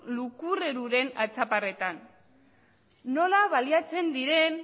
lukurreruren atzaparretan nola baliatzen diren